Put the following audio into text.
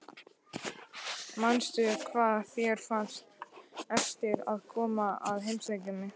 Manstu hvað þér fannst erfitt að koma að heimsækja mig?